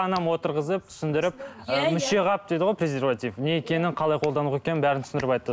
анам отырғызып түсіндіріп ііі мүшеқап дейді ғой презерватив не екенін қалай қолдану керек екенін бәрін түсіндіріп айтты